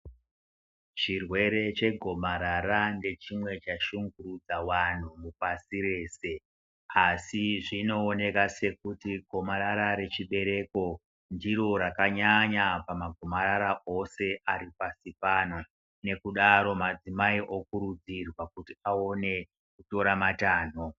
Chirwere chegomarara nechimwe chashungurudza vanhu pashi reshe asi zvinooneka sekuti gomarara rechibereko ndiro rakanyanya pamagomarara ose ari pasi pano, nekudaro madzimai okurudzirwa kuti aone kutora matanho.